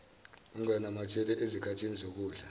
unganamatheli ezikhathini zokudla